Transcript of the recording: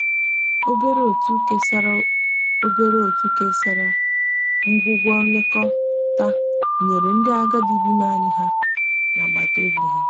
obere otu kesara obere otu kesara ngwugwo nlekọta nyere ndi agadi bi naani ha n'agbata obi.